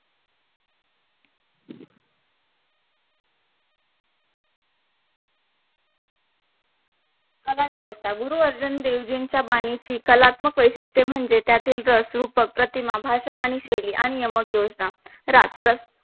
कलावस्था गुरुअर्जुनदेवजींच्या बानिची कलात्मक वैशिष्ठे म्हणजे. त्यातील रस रूपक प्रतिमा भाषा आणि शैली आणि यमक, योजना, राग रस